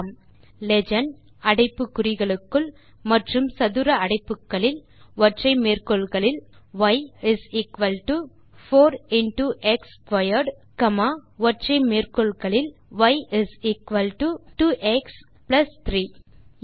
type செய்யலாம் legend அடைப்பு குறிகளுக்குள் மற்றும் சதுர அடைப்பு குறிகள் ய் 4 இன்டோ எக்ஸ் ஸ்க்வேர்ட் ஒற்றை மேற்கோள் குறிகளுக்குள் காமா ஒற்றை மேற்கோள் குறிகளுக்குள் ய் இஸ் எக்குவல் டோ 2எக்ஸ் பிளஸ் 3